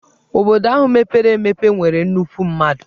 Obodo ahụ mepere emepe nwere nnukwu mmadụ.